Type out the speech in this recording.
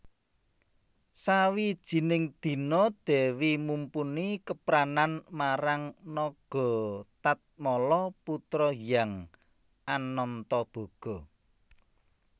Sawijining dina Dèwi Mumpuni kepranan marang Nagatatmala putra Hyang Anantaboga